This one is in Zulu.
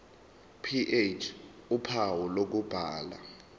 ph uphawu lokubhala